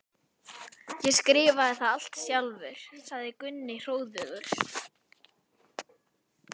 Ég skrifaði það allt sjálfur, sagði Gunni hróðugur.